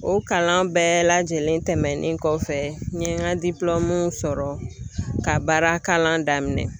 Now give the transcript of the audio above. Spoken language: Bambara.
O kalan bɛɛ lajɛlen tɛmɛnen kɔfɛ, n ye n ka sɔrɔ ka baara kalan daminɛ.